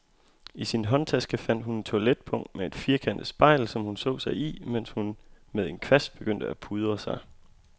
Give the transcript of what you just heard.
I sin håndtaske fandt hun et toiletpung med et firkantet spejl, som hun så sig i, mens hun med en kvast begyndte at pudre sig.